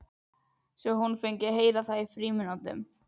Og svo fengi hún að heyra það í frímínútunum.